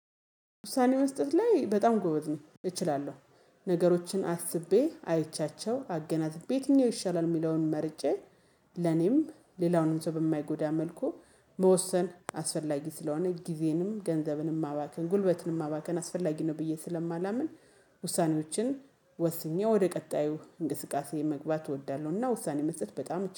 ውሳኔ መስጠት ላይ በጣም ጎበዝ ነኝ። እችላለው ነገሮችን አስቤ አይቼያቸው አገናዝቤ ዬትኛው ይሻላል የሚለውን መርጬ ለኔም ሌላውንም ሰው በማይጎዳ መልኩ መወሰን አስፈላጊ ስለሆነ ጊዜንም ገንዘብንም ማባከን ጉልበትንም ማባከን አስፈላጊ ነው ብዬ ስለማላምን ውሳኔዎችን ወስኜ ወደ ቀጣዩ እንቅስቃሴ መግባት እወዳለሁና ውሳኔ መስጠት በጣም